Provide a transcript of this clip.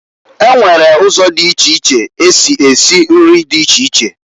E nwere uzo di iche iche esi esi nri di iche iche.